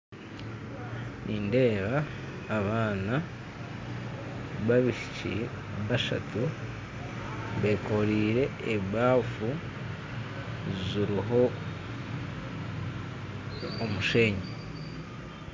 Nindeeba abaana babaishiiki bashatu bekoreire abaafu ziriho omushenyi